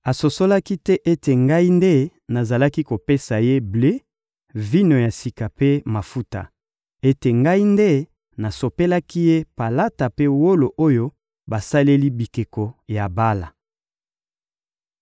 Asosolaki te ete ngai nde nazalaki kopesa ye ble, vino ya sika mpe mafuta; ete ngai nde nasopelaki ye palata mpe wolo oyo basaleli bikeko ya Bala.